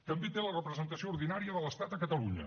també té la representació ordinària de l’estat a catalunya